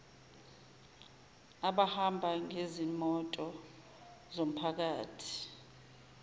abahamba ngezimoto zomphakathi